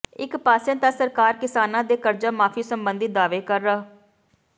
ਇਕ ਪਾਸੇ ਤਾਂ ਸਰਕਾਰ ਕਿਸਾਨਾਂ ਦੇ ਕਰਜਾ ਮਾਫ਼ੀ ਸਬੰਧੀ ਦਾਅਵੇ ਕਰ ਰ